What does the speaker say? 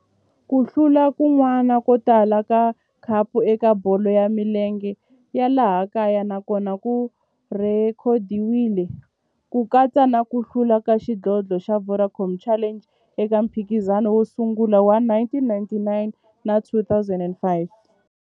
Ku hlula kun'wana ko tala ka khapu eka bolo ya milenge ya laha kaya na kona ku rhekhodiwile, ku katsa na ku hlula ka xidlodlo xa Vodacom Challenge eka mphikizano wo sungula wa 1999 na 2005.